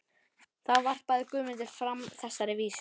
Þá varpaði Guðmundur fram þessari vísu: